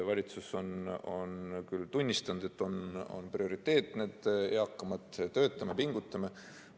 Valitsus on küll tunnistanud, et eakamad on prioriteet: töötame, pingutame.